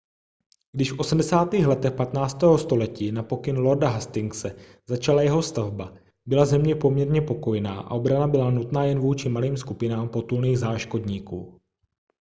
když v 80. letech 15. století na pokyn lorda hastingse začala jeho stavba byla země poměrně pokojná a obrana byla nutná jen vůči malým skupinám potulných záškodníků